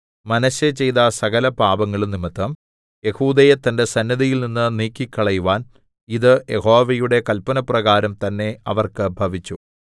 മനശ്ശെ ചെയ്ത സകലപാപങ്ങളും നിമിത്തം യെഹൂദയെ തന്റെ സന്നിധിയിൽനിന്ന് നീക്കിക്കളയുവാൻ ഇത് യഹോവയുടെ കല്പനപ്രകാരം തന്നേ അവർക്ക് ഭവിച്ചു